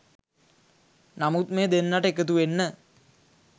නමුත් මේ දෙන්නට එකතුවෙන්න